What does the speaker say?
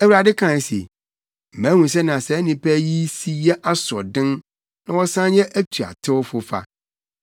Awurade kae se, “Mahu sɛnea saa nnipa yi si yɛ asoɔden na wɔsan yɛ atuatewfo fa.